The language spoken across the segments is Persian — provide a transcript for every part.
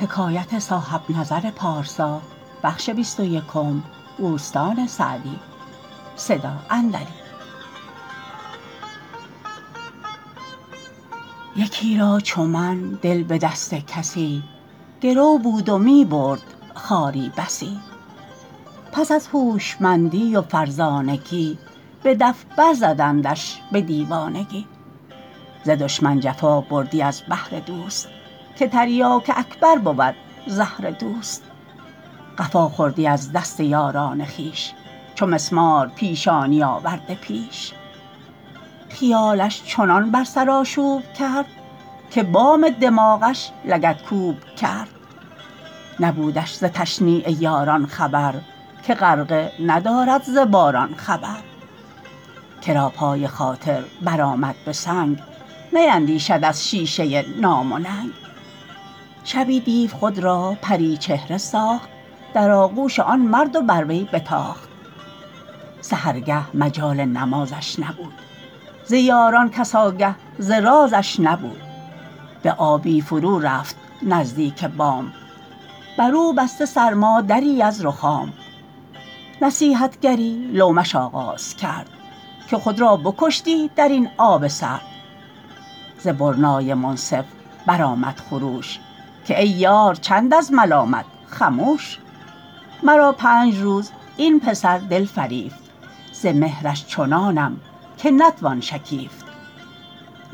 یکی را چو من دل به دست کسی گرو بود و می برد خواری بسی پس از هوشمندی و فرزانگی به دف بر زدندش به دیوانگی ز دشمن جفا بردی از بهر دوست که تریاک اکبر بود زهر دوست قفا خوردی از دست یاران خویش چو مسمار پیشانی آورده پیش خیالش چنان بر سر آشوب کرد که بام دماغش لگدکوب کرد نبودش ز تشنیع یاران خبر که غرقه ندارد ز باران خبر کرا پای خاطر بر آمد به سنگ نیندیشد از شیشه نام و ننگ شبی دیو خود را پریچهره ساخت در آغوش آن مرد و بر وی بتاخت سحرگه مجال نمازش نبود ز یاران کس آگه ز رازش نبود به آبی فرو رفت نزدیک بام بر او بسته سرما دری از رخام نصیحتگری لومش آغاز کرد که خود را بکشتی در این آب سرد ز برنای منصف بر آمد خروش که ای یار چند از ملامت خموش مرا پنج روز این پسر دل فریفت ز مهرش چنانم که نتوان شکیفت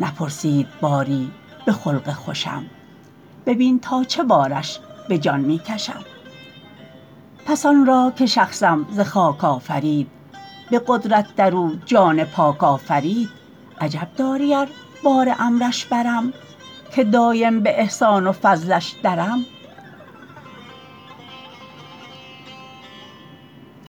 نپرسید باری به خلق خوشم ببین تا چه بارش به جان می کشم پس آن را که شخصم ز خاک آفرید به قدرت در او جان پاک آفرید عجب داری ار بار امرش برم که دایم به احسان و فضلش درم